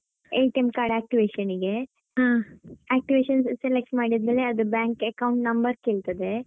card activation ಗೆ activation select ಮಾಡಿದ್ಮೇಲೆ ಅದು bank account ನಂಬರ್ ಕೇಳ್ತದೆ.